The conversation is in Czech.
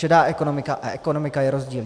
Šedá ekonomika a ekonomika je rozdíl.